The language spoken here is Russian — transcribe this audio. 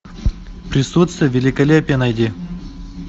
присутствие великолепия найди